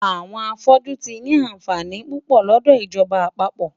Àwọn afọ́jú tí ni àǹfààní púpọ̀ lọ́dọ̀ ìjọba àpapọ̀.